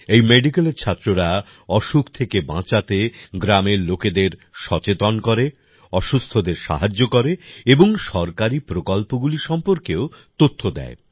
এই মেডিকেলের ছাত্ররা অসুখ থেকে বাঁচাতে গ্রামের লোকেদের সচেতন করে অসুস্থদের সাহায্য করে এবং সরকারী প্রকল্পগুলি সম্পর্কেও তথ্য দেয়